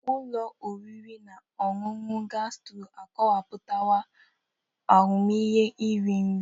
Ụlọ oriri na ọṅụṅụ gasturo akọwapụtala ahụmịhe iri nri.